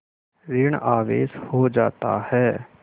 ॠण आवेश हो जाता है